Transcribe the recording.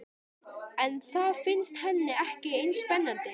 En það finnst henni ekki eins spennandi.